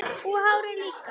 Og hárið líka!